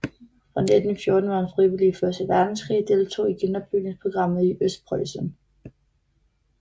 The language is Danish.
Fra 1914 var han frivilig i Første Verdenskrig og deltog i genopbygningsprogrammet i Østpreussen